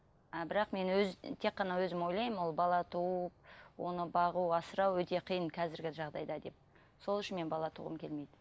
а бірақ мен өз тек қана өзім ойлаймын ол бала туу оны бағу асырау өте қиын қазіргі жағдайда деп сол үшін мен бала туғым келмейді